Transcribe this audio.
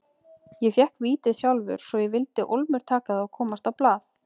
Ég fékk vítið sjálfur svo ég vildi ólmur taka það og komast á blað.